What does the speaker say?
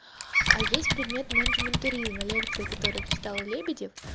а есть предмет менеджмент туризма лекции которых читал лебедев